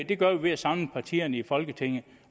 det gør vi ved at samle partierne i folketinget